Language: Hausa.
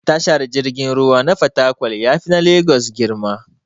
Tashar jirgin ruwa na fatakwal yafi na legas girma.